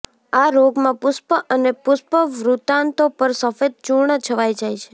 આ રોગમાં પુષ્પ અને પુષ્પવૃત્તાંતો પર સફેદ ચૂર્ણ છવાઈ જાય છે